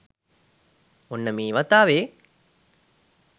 ඔන්න මේ වතාවෙ